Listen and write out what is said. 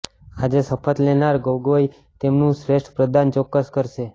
આજે શપથ લેનાર ગોગોઇ તેમનું શ્રેષ્ઠ પ્રદાન ચોક્કસ કરશે